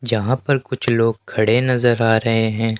जहां पर कुछ लोग खड़े नजर आ रहे हैं।